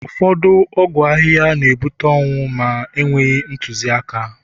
ụfọdụ ọgwụ ahịhịa na ebuta ọnwụ ma enweghị ntụziaka